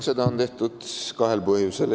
Seda on tehtud kahel põhjusel.